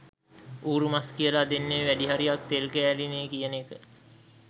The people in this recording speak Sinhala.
ඌරු මස් කියලා දෙන්නේ වැඩිහරියක් තෙල් කෑලිනේ කියන එක